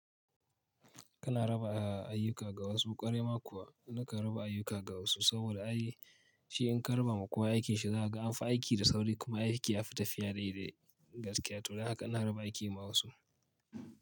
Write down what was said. Kana raba ayyuka ga wasu ƙwarai ma kuwa na kan raba ayyuka ga wasu saboda ai shi in ka raba ma kowa aikin shi za ka amfi aiki da sauri kuma aiki ya fi tafiya daidai gaskiya to dan haka ina raba aiki ma wasu.